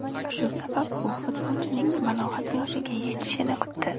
Shu sabab u futbolchining balog‘at yoshiga yetishishini kutdi.